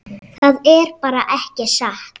Það er bara ekki satt.